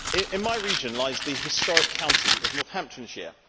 In my region lies the historic county of Northamptonshire.